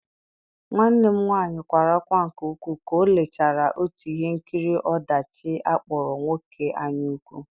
Nwanne m nwanyị kwara ákwá nke ukwuu ka ọ lechara otu ihe nkiri ọdachi akpọrọ Nwoke anyaukwu.